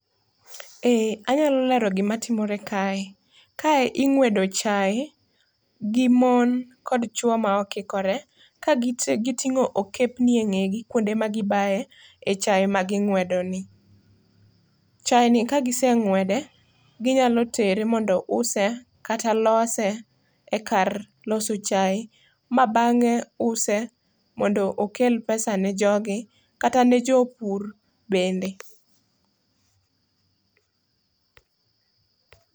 Eeeh, anyalo lero gima timre kae. Kae ingwedo chai gi mon kod chuo ma okikore ka gite gitingo okepni e ngegi kuonde ma gibae chai ma gingwedo ni. Chai ni kagise ngwede to ginyalo tere kama mondo use kata lose ekar loso chai ma bange use mondo okel pesa ne jogi kata ne jopur bende